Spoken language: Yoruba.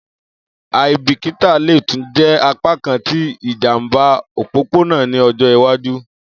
Aibikita le tun jẹ apakan ti ijamba opopona ni ọjọ iwaju.